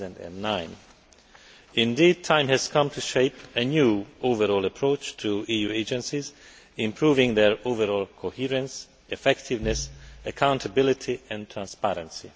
2009. Indeed, the time has come to shape a new overall approach to EU agencies, improving their overall coherence, effectiveness, accountability and transparency.